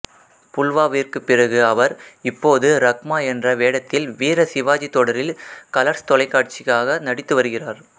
புல்வாவிற்கு பிறகு அவர் இப்போது ரக்மா என்ற வேடத்தில் வீர சிவாஜி தொடரில் கலர்ஸ் தொலைக்காட்சிக்காக நடித்து வருகிறார்